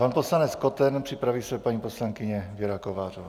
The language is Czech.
Pan poslanec Koten, připraví se paní poslankyně Věra Kovářová.